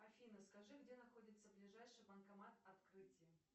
афина скажи где находится ближайший банкомат открытие